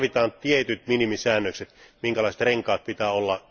Kyllä tarvitaan tietyt minimisäännökset, minkälaiset renkaat pitää olla.